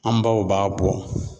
An baw b'a bɔ